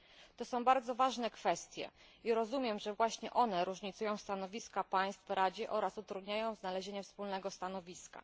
To są bardzo ważne kwestie i rozumiem, że właśnie one różnicują stanowiska państw w Radzie oraz utrudniają znalezienie wspólnego stanowiska.